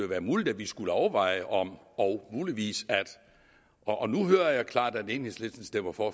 være muligt at vi skulle overveje om… og muligvis at… nu hører jeg klart at enhedslisten stemmer for